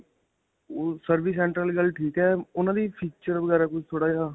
ਓਹ service center ਵਾਲੀ ਗੱਲ ਠੀਕ ਹੈ ਉਨ੍ਹਾਂ ਦੀ features ਵਗੈਰਾ ਕੁੱਝ ਥੋੜਾ ਜਿਹਾ.